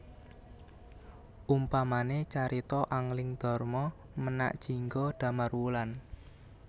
Umpamane carita Angling Darma Menak Jingga Damarwulan